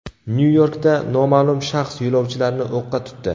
Nyu-Yorkda noma’lum shaxs yo‘lovchilarni o‘qqa tutdi.